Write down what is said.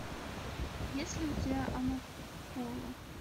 есть ли у тебя амапола